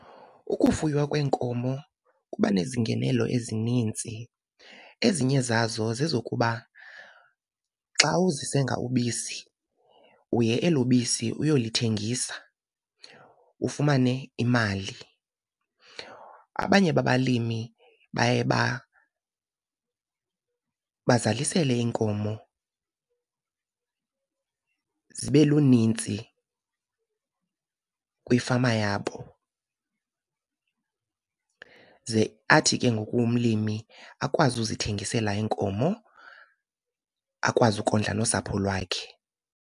Ukufuywa kweenkomo kuba nezingenelo ezininzi. Ezinye zazo zezokuba xa uzisenga ubisi, uye elo bisi uyolithengisa ufumane imali. Abanye babalimi baye bazalisele iinkomo zibe lunintsi kwifama yabo, ze athi ke ngoku umlimi akwazi uzithengisela iinkomo, akwazi ukondla nosapho lwakhe.